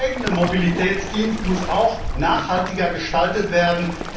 Der eigene Mobilitätsdienst muss auch nachhaltiger gestaltet werden.